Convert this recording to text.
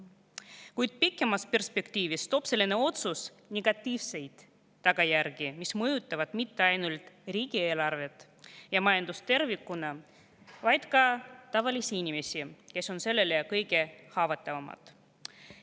Kuid pikemas perspektiivis toob selline otsus kaasa negatiivseid tagajärgi, mis mõjutavad mitte ainult riigieelarvet ja majandust tervikuna, vaid ka tavalisi inimesi, kes on kõige haavatavamad.